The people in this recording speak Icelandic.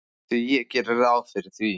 Já, ég geri ráð fyrir því.